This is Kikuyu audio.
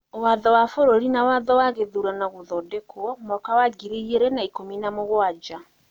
Watho wa bũrũri na watho wa gĩthurano(Gũthondekwo) wa mwaka wa ngiri igĩrĩ na ikũmi na mũgwanja,